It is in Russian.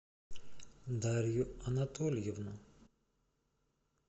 дарью анатольевну